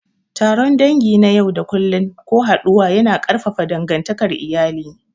Taron dangi na yau da kullun ko haɗuwa yana ƙarfafa dangantakar iyali.